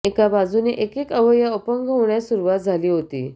एका बाजूने एकेक अवयव अपंग होण्यास सुरुवात झाली होती